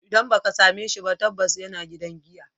Idan ba ka same shi ba, tabbas yana gidan giya.